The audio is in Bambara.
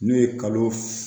N'o ye kalo